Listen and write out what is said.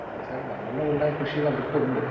Speaker 2 എന്താച്ചാൽ നമ്മളുടിവിടെ കൃഷിവകുപ്പുണ്ട്.